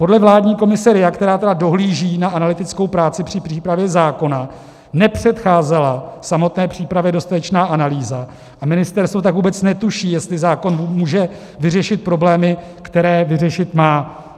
Podle vládní komise RIA, která tedy dohlíží na analytickou práci při přípravě zákona, nepředcházela samotné přípravě dostatečná analýza, a ministerstvo tak vůbec netuší, jestli zákon může vyřešit problémy, které vyřešit má.